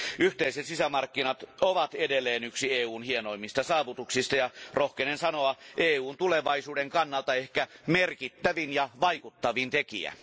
Yhteiset sisämarkkinat ovat edelleen yksi EUn hienoimmista saavutuksista ja rohkenen sanoa EUn tulevaisuuden kannalta ehkä merkittävin ja vaikuttavin tekijä.